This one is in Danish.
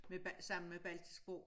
Med sammen med baltisk sprog